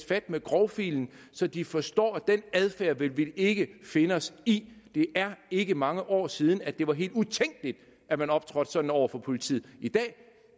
fat med grovfilen så de forstår at den adfærd vil vi ikke finde os i det er ikke mange år siden det var helt utænkeligt at man optrådte sådan over for politiet i dag